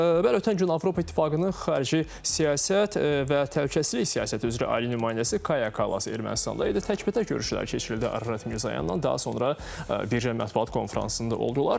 Bəli, ötən gün Avropa İttifaqının xarici siyasət və təhlükəsizlik siyasəti üzrə ali nümayəndəsi Kaya Kalas Ermənistanda idi, təkbətək görüşlər keçirildi Ararat Mirzoyanla, daha sonra birgə mətbuat konfransında oldular.